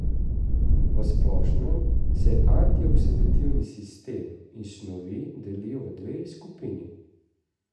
V splošnem se antioksidativni sistemi in snovi delijo v dve skupini.